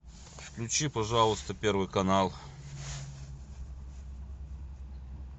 включи пожалуйста первый канал